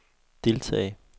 deltage